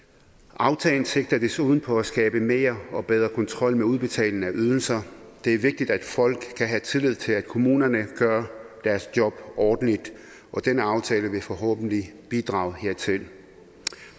aftalen sigter desuden på at skabe mere og bedre kontrol med udbetaling af ydelser det er vigtigt at folk kan have tillid til kommunerne gør deres job ordentligt og denne aftale vil forhåbentlig bidrage hertil